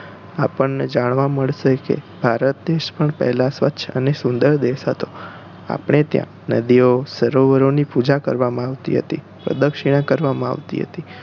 આપણને જાણવાં મળશે કે ભારત પણ સ્વચ્છ અને સુંદર દેશ હોતો આપણે ત્યાં નદીઓ સરોવરો ની પૂજા કરવામાં આવતી હતી પ્રદક્ષિણા કરવામાં આવતી હતી